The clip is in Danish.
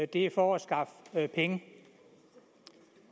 det er for at skaffe penge